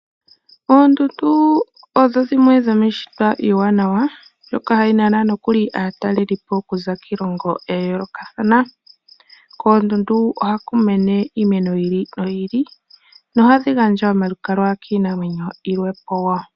Oondundu odho dimwe dhomiishitwa iiwanawa mbyoka hayi nana nokuli aatalelipo okuza kiilongo ya yoolokathana. Koondundu ohaku mene iimeno yi ili noyi ili, nohadhi gandja omalukalwa kiinamwenyo yilwe po wo.